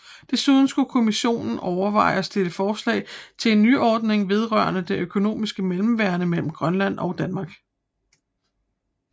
Desuden skulle Kommissionen overveje og stille forslag til en nyordning vedrørende det økonomiske mellemværende mellem Grønland og Danmark